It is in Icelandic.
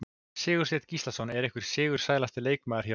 Sigursteinn Gíslason er einhver sigursælasti leikmaðurinn hér á landi.